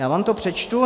Já vám to přečtu.